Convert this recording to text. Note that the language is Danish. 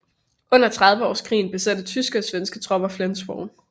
Under Trediveårskrigen besatte tyske og svenske tropper Flensborg